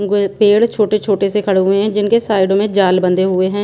अम्म गोए पेड़ छोटे छोटे से खड़े हुए है जिनके साइडों में जाल बंधे हुए हैं।